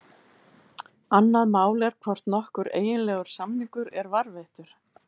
Annað mál er hvort nokkur eiginlegur samningur er varðveittur.